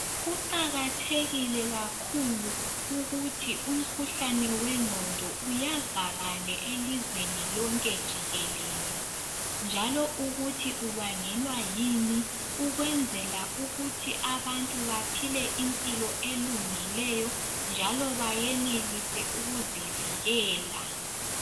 Kuqakathekile kakhulu ukuthi umkhuhlane wengqondo uyazakale elizweni lonke jikelele njalo ukuthi ubangelwa yini ukwenzela ukuthi abantu baphile impilo elungileyo njalo bayenelise ukuzivikela.